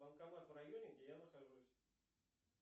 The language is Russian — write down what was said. банкомат в районе где я нахожусь